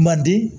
Madi